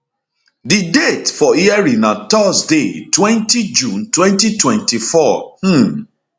di date for hearing na thursdaytwentyjune 2024 um